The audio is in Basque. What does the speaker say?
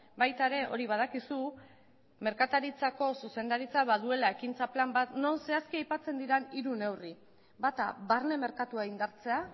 baita ere hori badakizu merkataritzako zuzendaritzak baduela ekintza plan bat non zehazki aipatzen diren hiru neurri bata barne merkatua indartzea